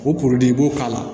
O kuruli i b'o k'a la